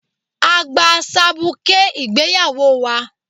A gba sabuké ìgbéyawó wa